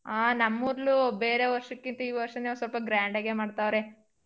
ಆ ನಮ್ಮೂರ್ಲು ಬೇರೆ ವರ್ಷಕ್ಕಿಂತ ಈ ವರ್ಷನೇ ಒಂದ್ ಸ್ವಲ್ಪ grand ಗೇ ಮಾಡ್ತವ್ರೆ.